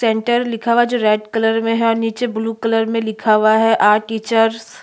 centre लिखा हुआ है जो रेड कलर में है और नीचे ब्लू कलर में लिखा हुआ है अर टीचर्स --